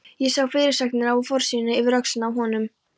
Ég sá fyrirsagnirnar á forsíðunni yfir öxlina á honum